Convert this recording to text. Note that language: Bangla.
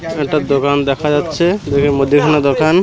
একটা দোকান দেখা যাচ্ছে দুইটা মদ্যেখানে দোকান।